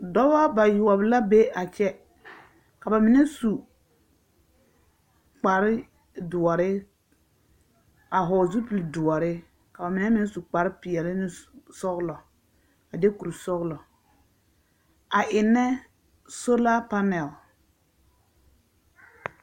Dɔbɔ bayoɔp la be a kyɛ. Ka ba mine su kparedoɔre a hɔɔl zupildoɔre. Ka ba menɛ meŋ su kparpeɛle ne s... sɔɔlɔ, a de kursɔɔlɔ a ennɛ solapanɛl.